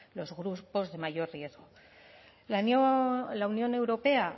los grupos de mayor riesgo la unión europea